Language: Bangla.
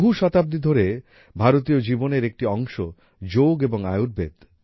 বহু শতাব্দী ধরে ভারতীয় জীবনের একটি অংশ যোগ এবং আয়ুর্বেদ